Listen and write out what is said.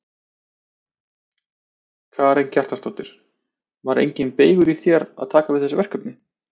Karen Kjartansdóttir: Var enginn beygur í þér að taka við þessu verkefni?